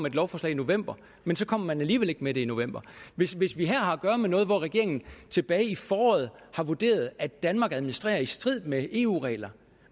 et lovforslag i november men så kommer man alligevel ikke med det i november hvis hvis vi her har at gøre med noget hvor regeringen tilbage i foråret har vurderet at danmark administrerer i strid med eu reglerne